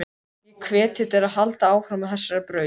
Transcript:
Ég hvet þig til að halda áfram á þessari braut.